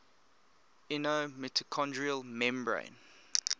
inner mitochondrial membrane